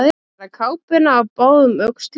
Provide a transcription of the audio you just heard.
Að bera kápuna á báðum öxlum